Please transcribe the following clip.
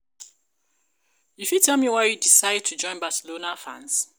you fit tell me why u decide to join Barcelona fans?